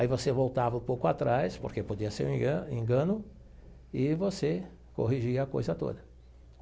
Aí você voltava um pouco atrás, porque podia ser um enga engano, e você corrigia a coisa toda.